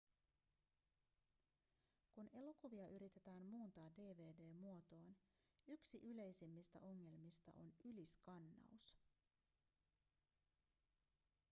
kun elokuvia yritetään muuntaa dvd-muotoon yksi yleisimmistä ongelmista on yliskannaus